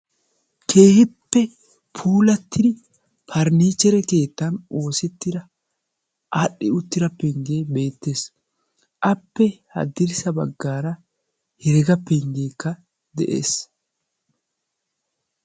keehippe puulatida faranichchere keettan oosetira aadhdhi uttida pengge beettees, appe haddirssa baggara heregga penggekka de'ees.